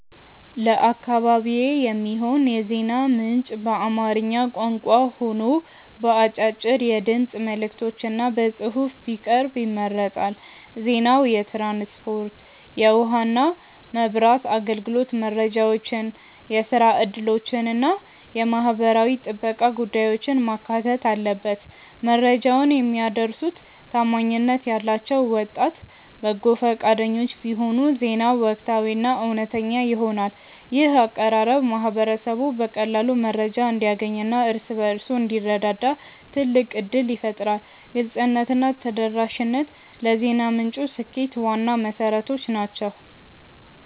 ለአካባቢዬ የሚሆን የዜና ምንጭ በአማርኛ ቋንቋ ሆኖ በአጫጭር የድምፅ መልዕክቶችና በጽሑፍ ቢቀርብ ይመረጣል። ዜናው የትራንስፖርት፣ የውኃና መብራት አገልግሎት መረጃዎችን፣ የሥራ ዕድሎችንና የማኅበራዊ ጥበቃ ጉዳዮችን ማካተት አለበት። መረጃውን የሚያደርሱት ታማኝነት ያላቸው ወጣት በጎ ፈቃደኞች ቢሆኑ ዜናው ወቅታዊና እውነተኛ ይሆናል። ይህ አቀራረብ ማኅበረሰቡ በቀላሉ መረጃ እንዲያገኝና እርስ በርሱ እንዲረዳዳ ትልቅ ዕድል ይፈጥራል። ግልጽነትና ተደራሽነት ለዜና ምንጩ ስኬት ዋና መሠረቶች ናቸው።